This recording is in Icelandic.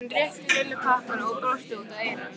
Hann rétti Lillu pakkann og brosti út að eyrum.